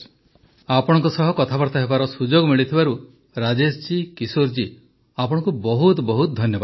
ପ୍ରଧାନମନ୍ତ୍ରୀ ଆପଣଙ୍କ ସହ କଥାବାର୍ତ୍ତା ହେବାର ସୁଯୋଗ ମିଳିଥିବାରୁ ରାଜେଶ ଜୀ କିଶୋର ଜୀ ଆପଣଙ୍କୁ ବହୁତ ବହୁତ ଧନ୍ୟବାଦ